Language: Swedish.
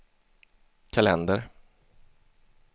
kalender